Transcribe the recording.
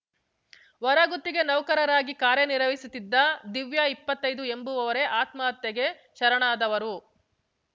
ಹೊರಗುತ್ತಿಗೆ ನೌಕರರಾಗಿ ಕಾರ್ಯ ನಿರ್ವಹಿಸುತ್ತಿದ್ದ ದಿವ್ಯಾಇಪ್ಪತ್ತೈದು ಎಂಬವರೇ ಆತ್ಮಹತ್ಯೆಗೆ ಶರಣಾದವರು